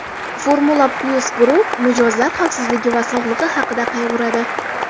FormulaPlus Group - mijozlar xavfsizligi va sog‘ligi haqida qayg‘uradi.